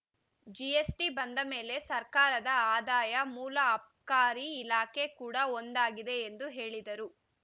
GST ಬಂದ ಮೇಲೆ ಸರ್ಕಾರದ ಆದಾಯ ಮೂಲ ಅಬ್ಕಾರಿ ಇಲಾಖೆ ಕೂಡಾ ಒಂದಾಗಿದೆ ಎಂದು ಹೇಳಿದರು